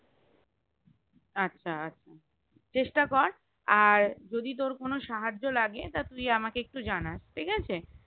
আচ্ছা আচ্ছা চেষ্টা কর আর যদি তোর কোনো সাহায্য লাগে তা তুই আমাকে একটু জানাস ঠিকাছে